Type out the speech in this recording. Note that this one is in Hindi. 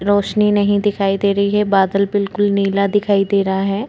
रौशनी नहीं दिखाई दे रही है बादल बिल्कुल नीला दिखाई दे रहा हैं।